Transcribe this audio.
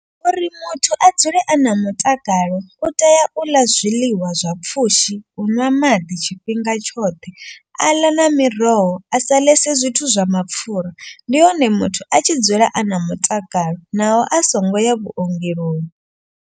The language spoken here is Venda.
Uri muthu a dzule a na mutakalo u tea u ḽa zwiḽiwa zwa pfhushi, u ṅwa maḓi tshifhinga tshoṱhe. A ḽa na miroho a sa ḽesa zwithu zwa mapfura. Ndi hone muthu a tshi dzula a na mutakalo naho a songo ya vhuongeloni.